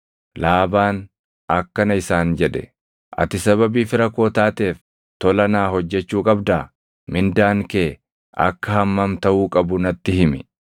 Laabaan akkana isaan jedhe; “Ati sababii fira koo taateef tola naa hojjechuu qabdaa? Mindaan kee akka hammam taʼuu qabu natti himi.”